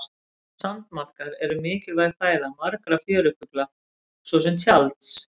sandmaðkar eru mikilvæg fæða margra fjörufugla svo sem tjalds